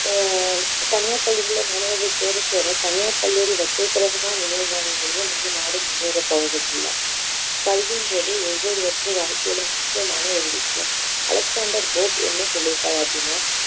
ஆஹ் தனியார் பள்ளிகளில மாணவர்கள் சேர சேர தனியார் கல்லூரிகள் வச்சிருக்கவங்க தான் முன்னேறுவாங்களே தவிர நம்ம நாடு முன்னேற போறது இல்ல கல்வின்றது ஒவ்வொருவருக்கும் வாழ்க்கையில் முக்கியமான ஒரு விஷயம் அலெக்ஸாண்டர் போப் என்ன சொல்லியிருக்கார் அப்படின்னா